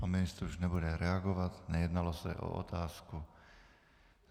Pan ministr už nebude reagovat, nejednalo se o otázku.